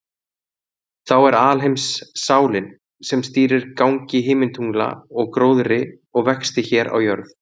Þá er alheimssálin, sem stýrir gangi himintungla og gróðri og vexti hér á jörð.